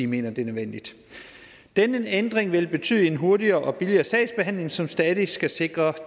mener det er nødvendigt denne ændring vil betyde en hurtigere og billigere sagsbehandling som stadig skal sikre